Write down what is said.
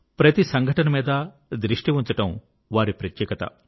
ప్రతి సంఘటన మీద దృష్టి ఉంచడం వారి ప్రత్యేకత